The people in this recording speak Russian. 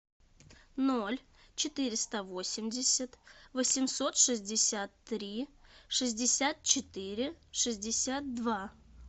ноль четыреста восемьдесят восемьсот шестьдесят три шестьдесят четыре шестьдесят два